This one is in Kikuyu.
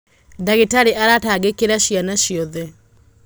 ndagītarī aratangīkīra ciana ciothe.